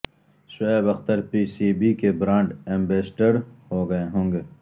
Shoaib Akhtar P C B کے brand ambassador ہونگے